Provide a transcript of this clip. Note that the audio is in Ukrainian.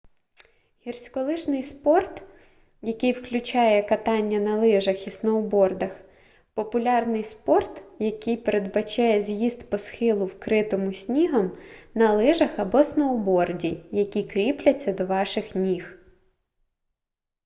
гірськолижний спорт який включає катання на лижах і сноубордах популярний спорт який передбачає з'їзд по схилу вкритому снігом на лижах або сноуборді які кріпляться до ваших ніг